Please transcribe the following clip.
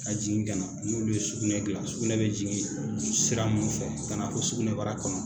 Ka jigin ka na n'olu ye sugunɛ dilan, sugunɛ bɛ jigin sugunɛ sira minnu fɛ ka na fo sugunɛbara kɔnɔ,